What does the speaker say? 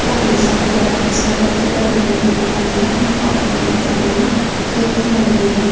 Biroq muzokaralar hisobotida bunday imkoniyat muhokama etilgani qayd qilinmagan.